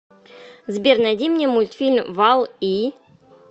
сбер найди мне мультфильм валл и